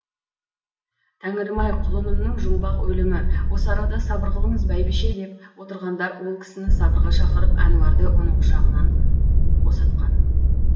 тәңірім ай құлынымның жұмбақ өлімі осы арада сабыр қылыңыз бәйбіше деп отырғандар ол кісіні сабырға шақырып әнуарды оның құшағынан босатқан